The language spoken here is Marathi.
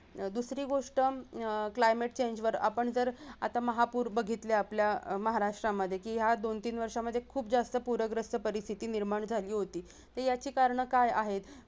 दूसरी गोष्ट हम्म climate change वर आपण जर आता महापूर बघितलं आपल्या महाराष्ट्रामध्ये की या दोन तीन वर्षांमध्ये खूप जास्त पूरग्रस्त परिस्थिती निर्माण झाली होती तर याची कारण काय आहेत